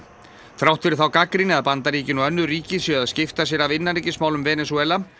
þrátt fyrir þá gagnrýni að Bandaríkin og önnur ríki séu að skipta sér af innanríkismálum Venesúela